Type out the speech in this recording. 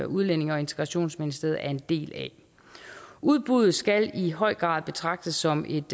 udlændinge og integrationsministeriet er en del af udbuddet skal i høj grad betragtes som et